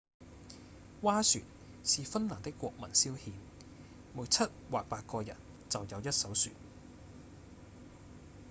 划船是芬蘭的國民消遣每七或八個人就有一艘船